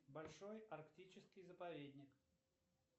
большой арктический заповедник